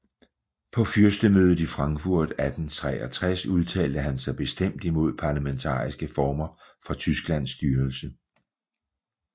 På fyrstemødet i Frankfurt 1863 udtalte han sig bestemt imod parlamentariske former for Tysklands styrelse